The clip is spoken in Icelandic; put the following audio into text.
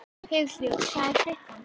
Hugljúf, hvað er klukkan?